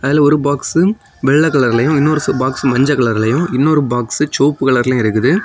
இதுல ஒரு பாக்ஸ் வெள்ளை கலர்லயும் ஒரு பாக்ஸ் மஞ்ச கலர்ல இன்னொரு பாக்ஸ் செவப்பு கலர்லயும் இருக்குது.